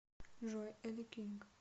джой элле кинг